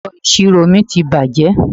Ẹ̀rọ ìṣirò mi ti bàjẹ́.